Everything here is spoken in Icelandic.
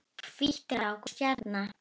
Hvít rák og stjarna